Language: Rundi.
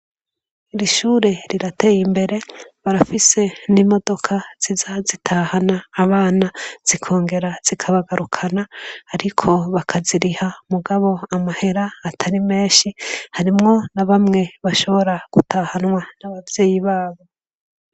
Iri shure rirateye imbere. Barafise n'imodoka ziza zitahana abana zikongera zikabagarukana, ariko bakaziriha, mugabo amahera atari menshi. Harimwo na bamwe bashobora gutahanwa n'abavyeyi babo.